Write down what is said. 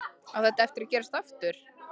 Á þetta eftir að gerast aftur?